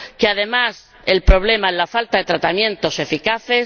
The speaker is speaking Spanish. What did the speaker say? Además, el problema es la falta de tratamientos eficaces.